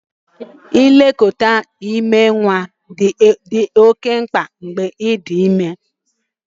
Nlekọta ime nwa dị oke mkpa n'oge ime ime